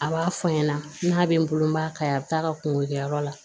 A b'a fɔ n ɲɛna n'a bɛ n bolo n b'a ka a bɛ taa ka kungo kɛ yɔrɔ la